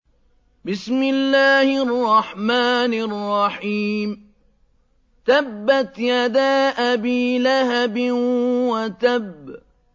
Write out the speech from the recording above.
تَبَّتْ يَدَا أَبِي لَهَبٍ وَتَبَّ